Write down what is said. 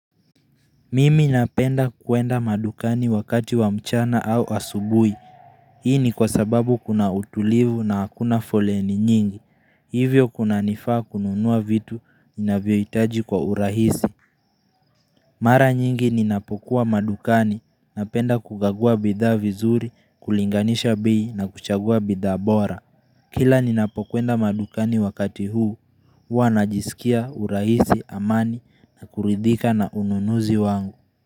Mimi napenda kuenda madukani wakati wa mchana au asubuhi. Hii ni kwa sababu kuna utulivu na hakuna foleni nyingi. Hivyo kuna nifaa kununua vitu ninavyohitaji kwa urahisi. Mara nyingi ninapokuwa madukani, napenda kukagua bidhaa vizuri, kulinganisha bei na kuchagua bidhaa bora. Kila ninapokwenda madukani wakati huu, huwa najisikia urahisi, amani, na kuridhika na ununuzi wangu.